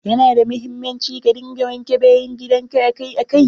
Ya na da muhimmanci ka dinga wanke bayan gidan ka akai akai.